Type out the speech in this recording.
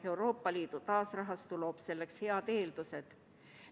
Euroopa Liidu taasterahastu loob selleks head eeldused.